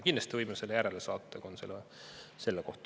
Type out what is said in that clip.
Kindlasti võime selle järele saata, kui on huvi selle vastu.